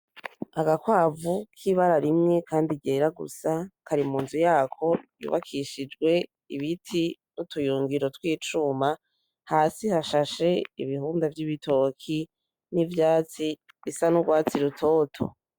Agakwavu k,ibara rimwe kandi ryera gusa kari munzu yako yubakishijwe ibiti n,utuyungiro tw,icuma hasi hashashe ibibunga vy,ibitoki n,ivyatsi bisa nurwatsi rutoto.